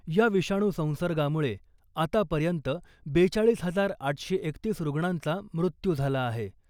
या विषाणू संसर्गामुळे आतापर्यंत बेचाळीस हजार आठशे एकतीस रुग्णांचा मृत्यू झाला आहे .